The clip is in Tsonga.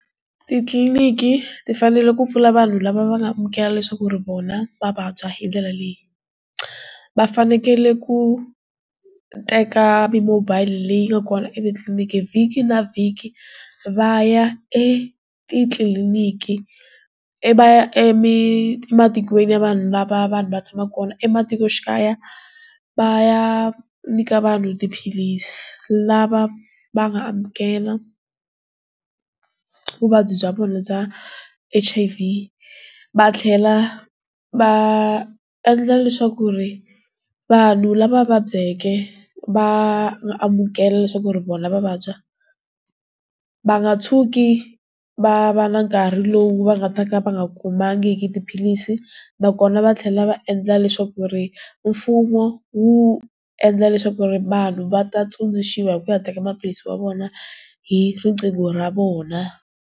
Titliliniki ti fanele ku pfuna vanhu lava va nga amukela leswaku ri vona va vabya hindlela leyi, va fanekele ku teka mi mobile leyi nga kona etitliliniki vhiki na vhiki va ya e titliliniki i va ya emi ematikweni ya vanhu lava vanhu va tshamaka kona ematikoxikaya va ya nyika vanhu tiphilisi lava va nga amukela vuvabyi bya vona bya H_I_V va tlhela va endla leswaku ku ri vanhu lava vabyake va amukela leswaku ri vona va vabya va nga tshuki va va na nkarhi lowu va nga ta ka va nga khomangiki tiphilisi nakona va tlhela va endla leswaku ri mfumo wu endla leswaku ri vanhu va ta tsundzuxiwa hi ku ya teka maphilisi wa vona hi riqingho ra vona.